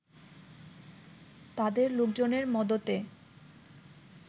তাদের লোকজনের মদতে